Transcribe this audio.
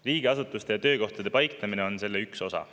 Riigiasutuste ja töökohtade paiknemine on selle üks osa.